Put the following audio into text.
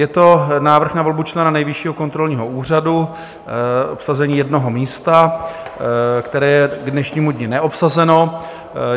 Je to návrh na volbu člena Nejvyššího kontrolního úřadu, obsazení jednoho místa, které je k dnešnímu dni neobsazeno.